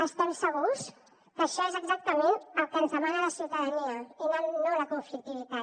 estem segurs que això és exactament el que ens demana la ciutadania i no la conflictivitat